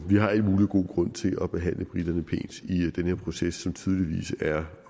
vi har al mulig god grund til at behandle briterne pænt i den her proces som tydeligvis er